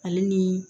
Ale ni